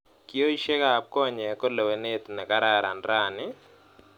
kioishekab konyek ko lewenet nekararan rani?